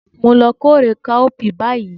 Mo n lo kórè káópiì báyì